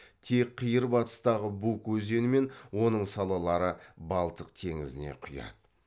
тек қиыр батыстағы буг өзені мен оның салалары балтық теңізіне құяды